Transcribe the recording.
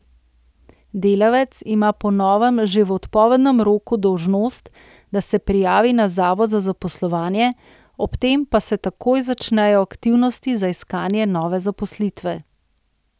Delavec ima po novem že v odpovednem roku dolžnost, da se prijavi na zavod za zaposlovanje, ob tem pa se takoj začnejo aktivnosti za iskanje nove zaposlitve.